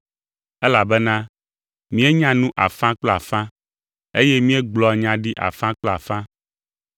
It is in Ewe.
elabena míenya nu afã kple afã, eye míegblɔa nya ɖi afã kple afã,